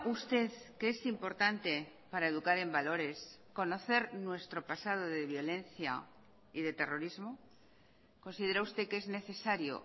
usted que es importante para educar en valores conocer nuestro pasado de violencia y de terrorismo considera usted que es necesario